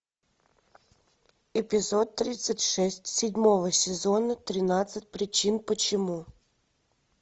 эпизод тридцать шесть седьмого сезона тринадцать причин почему